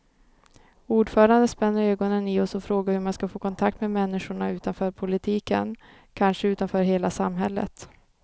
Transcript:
Ordföranden spänner ögonen i oss och frågar hur man ska få kontakt med människorna utanför politiken, kanske utanför hela samhället.